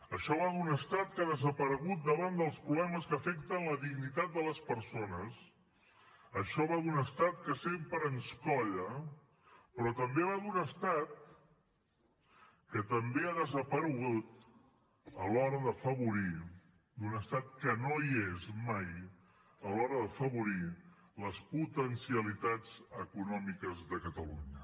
això va d’un estat que ha desaparegut davant dels problemes que afecten la dignitat de les persones això va d’un estat que sempre ens colla però també va d’un estat que també ha desaparegut a l’hora d’afavorir d’un estat que no hi és mai a l’hora d’afavorir les potencialitats econòmiques de catalunya